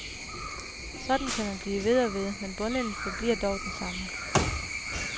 Sådan kan man blive ved og ved, men bundlinjen forbliver dog den samme.